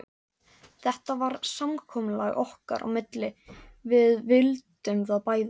Þetta var samkomulag okkar á milli, við vildum það bæði.